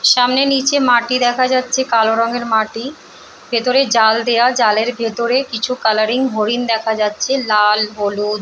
সামনে নিচে মাটি দেখা যাচ্ছে কালো রঙের মাটি ভেতরে জাল দেয়া জালের ভিতর কিছু কালারিং হরিণ দেখা যাচ্ছে লাল হলুদ।